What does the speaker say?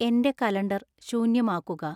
എൻ്റെ കലണ്ടർ ശൂന്യമാക്കുക